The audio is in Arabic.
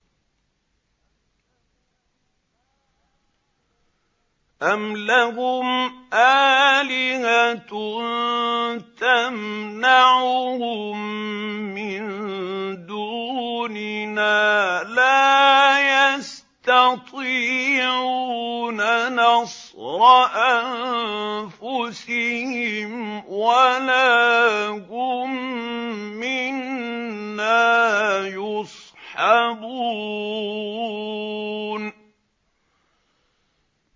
أَمْ لَهُمْ آلِهَةٌ تَمْنَعُهُم مِّن دُونِنَا ۚ لَا يَسْتَطِيعُونَ نَصْرَ أَنفُسِهِمْ وَلَا هُم مِّنَّا يُصْحَبُونَ